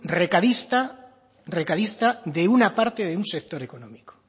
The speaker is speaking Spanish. recadista recadista de una parte de un sector económico